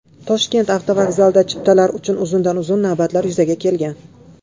Toshkent avtovokzalida chiptalar uchun uzundan-uzoq navbatlar yuzaga kelgan .